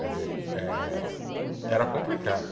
Quer dizer, eh era complicado.